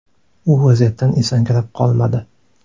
U vaziyatdan esankirab qolmadi.